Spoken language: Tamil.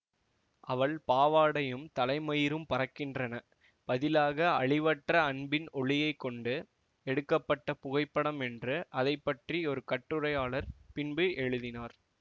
அவள் பாவாடையும் தலைமயிரும் பறக்கின்றன பதிலாக அழிவற்ற அன்பின் ஒளியைக் கொண்டு எடுக்க பட்ட புகைப்படம் என்று அதை பற்றி ஒரு கட்டுரையாளர் பின்பு எழுதினார்